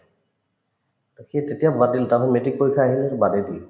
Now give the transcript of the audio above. to সেই তেতিয়া বাদ দিলো তাৰপিছত matrix পৰীক্ষা আহিল বাদে দিলো